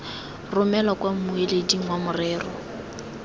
romelwa kwa mmueleding fa morero